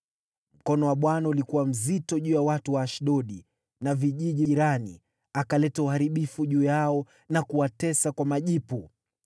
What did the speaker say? Mkono wa Bwana ulikuwa mzito juu ya watu wa Ashdodi na vijiji jirani, akaleta uharibifu juu yao na kuwatesa kwa majipu.